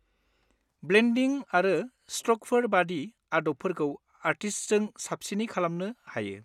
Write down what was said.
ब्लेन्डिं आरो स्ट्रकफोर बादि आदबफोरखौ आर्टिस्टजों साबसिनै खालामनो हायो।